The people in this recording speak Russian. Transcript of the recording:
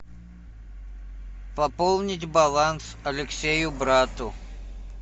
пополнить баланс алексею брату